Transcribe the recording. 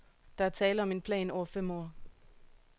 Der er tale om en plan over fem år.